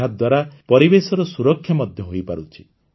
ଏହାଦ୍ୱାରା ପରିବେଶର ସୁରକ୍ଷା ମଧ୍ୟ ହୋଇପାରୁଛି